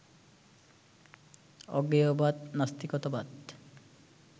অজ্ঞেয়বাদ, নাস্তিকতাবাদ